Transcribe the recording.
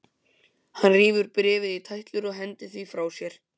Hann rífur bréfið í tætlur og hendir því frá sér.